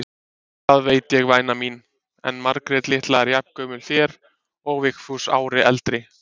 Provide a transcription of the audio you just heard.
Það veit ég væna mín, en Margrét litla er jafngömul þér og Vigfús ári eldri.